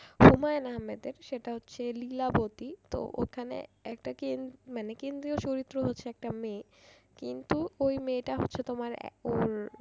হুমাযুন আহম্মদ এর সেটা হচ্ছে লীলা বতী তো ওখানে একটা কেন্দ্রীয় চরিত্র হচ্ছে একটা মেয়ে কিন্তু ওই মেয়েটা হচ্ছে তোমার এ উম